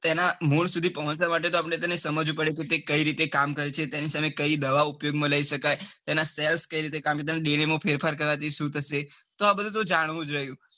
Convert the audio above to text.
તે એના મૂળ સુધી પોંહચવા માટે તો આપડે તેને સમજવું પડે કે કઈ રીતે કામ કરે છે કે તેને સાથે કઈ દવાઓ કામ માં લઇ શકાય તેન cells કઈ રીતે કામ કરે કમ કે ફેરફાર કરવા જઇસુ તો સુ થશે તો આ બધું તો જાણવું જ જોઈ